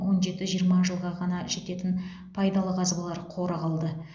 он жеті жиырма жылға ғана жететін пайдалы қазбалар қоры қалды